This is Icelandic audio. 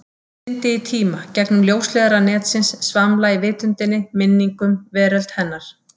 Syndi í tíma, gegnum ljósleiðara netsins, svamla í vitundinni, minningum, veröld hennar.